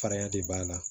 Farinya de b'a la